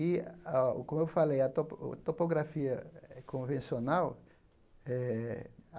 E, a como eu falei, a topo o topografia é convencional eh.